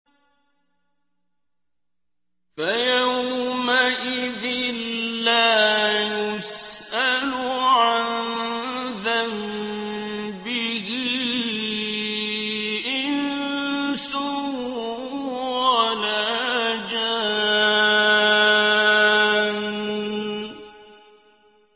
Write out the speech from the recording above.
فَيَوْمَئِذٍ لَّا يُسْأَلُ عَن ذَنبِهِ إِنسٌ وَلَا جَانٌّ